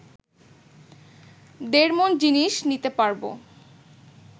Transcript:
দেড় মণ জিনিষ নিতে পারবো